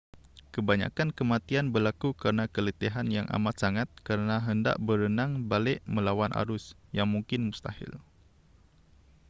kebanyakan kematian berlaku kerana keletihan yang amat sangat kerana hendak berenang balik melawan arus yang mungkin mustahil